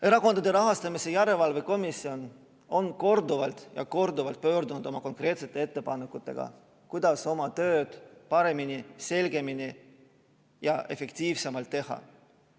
Erakondade Rahastamise Järelevalve Komisjon on korduvalt ja korduvalt esitanud konkreetseid ettepanekuid, kuidas oma tööd paremini, selgemini ja efektiivsemalt teha.